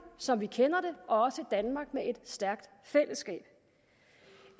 som vi kender også danmark med et stærkt fællesskab